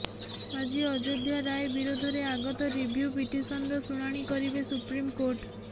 ଆଜି ଅଯୋଧ୍ୟା ରାୟ ବିରୋଧରେ ଆଗତ ରିଭ୍ୟୁ ପିଟିସନ୍ର ଶୁଣାଣି କରିବେ ସୁପ୍ରିମ୍ କୋର୍ଟ